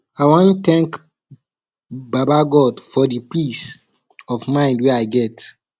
i wan tank baba god for di peace of mind wey i get